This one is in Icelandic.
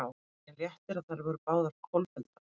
Var það ákveðinn léttir að þær voru báðar kolfelldar?